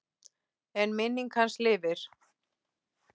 En minning hans lifir.